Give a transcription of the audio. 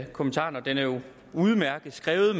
kommentaren og den er jo udmærket skrevet